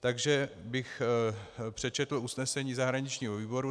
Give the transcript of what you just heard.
Takže bych přečetl usnesení zahraničního výboru.